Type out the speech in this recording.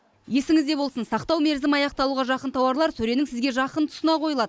есіңізде болсын сақтау мерзімі аяқталуға жақын тауарлар сөренің сізге жақын тұсына қойылады